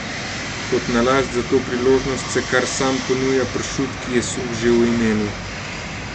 Kot nalašč za to priložnost se kar sam ponuja pršut, ki je suh že v imenu.